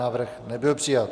Návrh nebyl přijat.